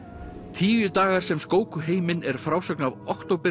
tíu dagar sem skóku heiminn er frásögn af